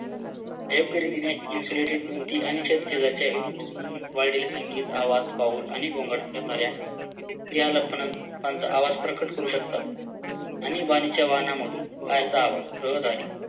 अयोग्यरीतीने insulated भिंती आणि units मधून वाढलेले संगीत आवाज पाहून आणि गोंगाट करणाऱ्या आवाज प्रकट करू शकतात आणीबाणीच्या वाहनामधून रहदारी आणि गोंगाट करणाऱ्या आवाज प्रकट करू शकतात आणीबाणीच्या वाहनामधून रहदारी